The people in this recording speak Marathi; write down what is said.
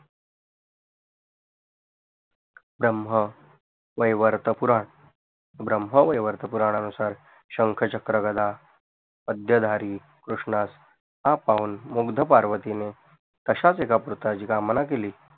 ब्रम्ह वैवर्त पुराण ब्रम्ह वैवर्त पुरानानुसार शंख चक्र गधा अद्याधरी कृषणास हा पाऊण मुगधपर्वतीने अशयास एका पुत्राची कामना केली